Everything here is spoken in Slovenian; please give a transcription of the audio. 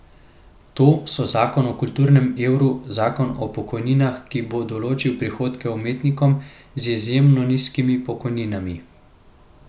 To so zakon o kulturnem evru, zakon o pokojninah, ki bo določil prihodke umetnikom z izjemno nizkimi pokojninami.